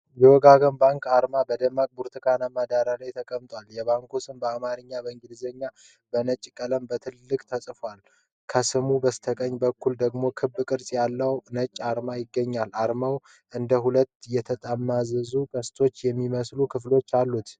የወጋገን ባንክ አርማ በደማቅ ብርቱካንማ ዳራ ላይ ተቀምጧል። የባንኩ ስም በአማርኛና በእንግሊዝኛ በነጭ ቀለም በትልቁ ተጽፏል። ከስሙ በስተቀኝ በኩል ደግሞ ክብ ቅርጽ ያለው ነጭ አርማ ይገኛል። አርማው እንደ ሁለት የተጠማዘዙ ቀስቶች የሚመስሉ ክፍሎች አሉት።